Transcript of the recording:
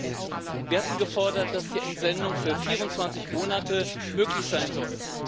Erstens Wir hatten gefordert, dass die Entsendung für 24 Monate möglich sein soll.